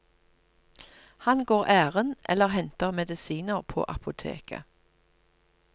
Han går ærend eller henter medisiner på apoteket.